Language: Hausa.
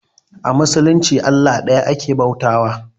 A musulunci Allah ɗaya ake bauta wa